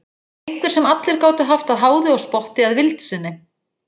Einhver sem allir gátu haft að háði og spotti að vild sinni.